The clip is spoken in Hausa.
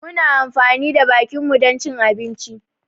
Muna amfani da bakinmu dan cin abinci